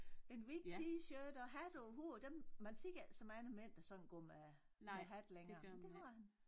En hvid t-shirt og hat over hovedet dem man ser altså ikke så mange mænd der sådan går med med hat længere men det gør han